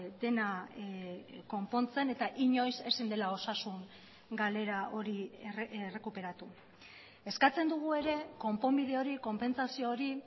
dena konpontzen eta inoiz ezin dela osasun galera hori errekuperatu eskatzen dugu ere konponbide hori konpentsazio hori